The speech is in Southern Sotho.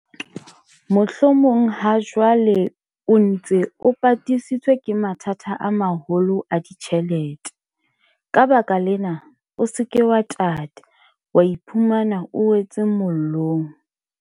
Mohlomong hajwale o ntse o patisitswe ke mathata a maholo a ditjhelete, ka baka lena, o se ke wa tata, wa iphumana o wetse mollong.